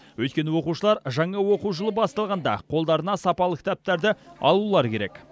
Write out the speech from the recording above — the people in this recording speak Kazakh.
өйткені оқушылар жаңа оқу жылы басталғанда қолдарына сапалы кітаптарды алулары керек